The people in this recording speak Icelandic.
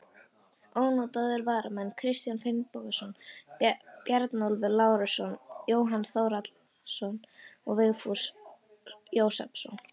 Ónotaðir varamenn: Kristján Finnbogason, Bjarnólfur Lárusson, Jóhann Þórhallsson, Vigfús Jósepsson.